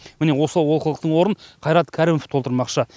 міне осы олқылықтың орнын қайрат кәрімов толтырмақшы